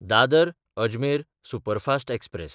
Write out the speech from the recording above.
दादर–अजमेर superfast express